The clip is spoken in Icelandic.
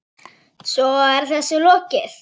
Svo er þessu lokið?